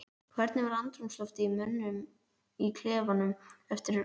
Hvernig var andrúmsloftið í mönnum í klefanum eftir leik?